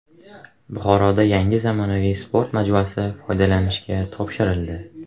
Buxoroda yangi zamonaviy sport majmuasi foydalanishga topshirildi.